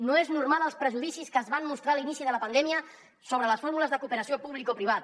no és normal els prejudicis que es van mostrar a l’inici de la pandèmia sobre les fórmules de cooperació publicoprivada